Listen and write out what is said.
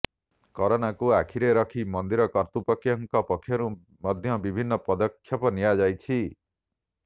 କରୋନାକୁ ଆଖିରେ ରଖି ମନ୍ଦିର କର୍ତ୍ତୃପକ୍ଷଙ୍କ ପକ୍ଷରୁ ମଧ୍ୟ ବିଭିନ୍ନ ପଦକ୍ଷେପ ନିଆଯାଇଛି